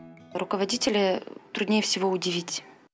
руководителей труднее всего удивить